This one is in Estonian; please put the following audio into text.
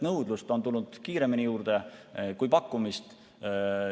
Nõudlust on tulnud kiiremini juurde kui pakkumist.